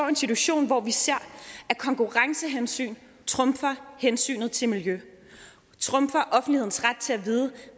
en situation hvor vi ser at konkurrencehensyn trumfer hensynet til miljø og trumfer offentlighedens ret til at vide